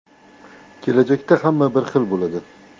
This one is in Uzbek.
Kelajakda hamma bir xil bo‘ladi.